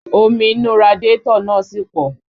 Omi inú radiátọ̀ náà sì pọ̀